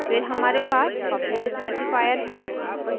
फिर हमारे पास public specifier है